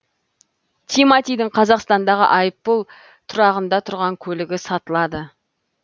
тиматидің қазақстандағы айыппұл тұрағында тұрған көлігі сатылады